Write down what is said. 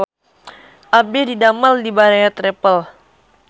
Abdi didamel di Baraya Travel